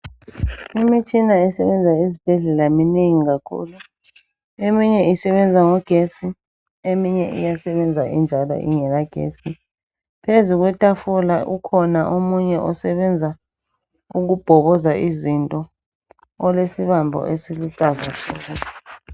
Imitshina esebenza esibhedlela minengi kakhulu, eminye isebenza ngogesi eminye iyasebenza injalo ingela gesi. Phezu kwetafula ukhona omunye osebenza ukubhokoza izinto olesibambo esiluhlaza tshoko.